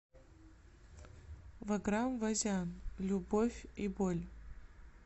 ваграм вазян любовь и боль